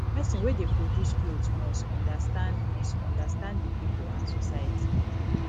persin wey de produce cloth must understand must understand di pipo and society